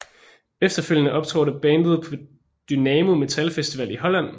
Efterfølgende optrådte bandet på Dynamo Metal Festival i Holland